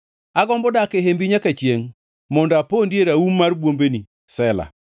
Agombo dak e hembi nyaka chiengʼ mondo apondie e raum mar bwombeni. Sela